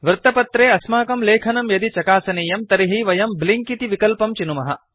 वृत्तपत्रे अस्माकं लेखनं यदि चकासनीयं तर्हि वयं ब्लिंक इति विकल्पं चिनुमः